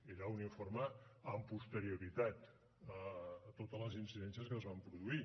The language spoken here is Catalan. era un informe amb posterioritat a totes les incidències que es van produir